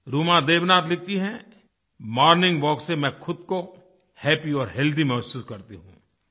रूमा देवनाथ लिखती हैं morning walk से मैं ख़ुद को हैपी और हेल्थी महसूस करती हूँ